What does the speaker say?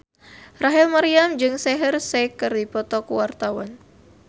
Rachel Maryam jeung Shaheer Sheikh keur dipoto ku wartawan